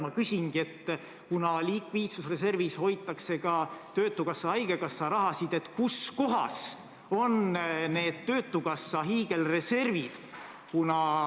Ma küsin, et kuna likviidsusreservis hoitakse ka töötukassa ja haigekassa raha, siis kus kohas on need töötukassa hiigelreservid.